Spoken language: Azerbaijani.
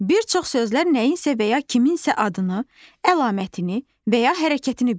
Bir çox sözlər nəyinsə və ya kiminsə adını, əlamətini və ya hərəkətini bildirir.